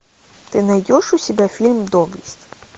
ты найдешь у себя фильм доблесть